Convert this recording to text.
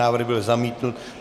Návrh byl zamítnut.